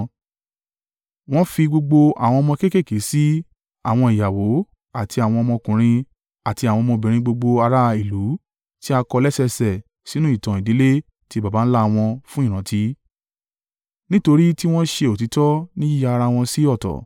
Wọ́n fi gbogbo àwọn ọmọ kéékèèké sí i, àwọn ìyàwó, àti àwọn ọmọkùnrin àti àwọn ọmọbìnrin gbogbo ará ìlú tí a kọ lẹ́sẹẹsẹ sínú ìtàn ìdílé ti baba ńlá wọn fún ìrántí. Nítorí tí wọ́n ṣe òtítọ́ ní yíya ara wọn sí ọ̀tọ̀.